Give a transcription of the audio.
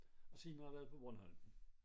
Og senere har jeg været på Bornholm